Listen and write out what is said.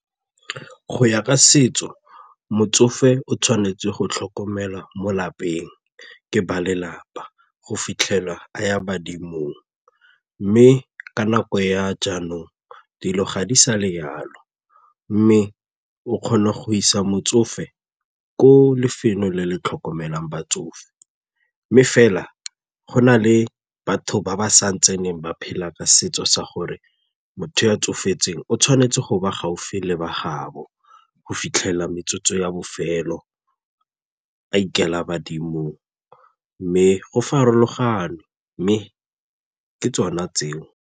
Go ya ka setso, motsofe o tshwanetse go tlhokomelwa mo lapeng ke ba lelapa go fitlhelwa a ya badimong mme ka nako ya jaanong dilo ga di sa le jalo mme o kgona go isa motsofe ko lefelo le le tlhokomelang batsofe. Mme fela go na le batho ba ba sa tseneng ba phela ka setso sa gore motho tsofetseng o tshwanetse go ba gaufi le ba gaabo go fitlhela metsotso ya bofelo a ikela badimong mme go farologane mme ke tsona tseo.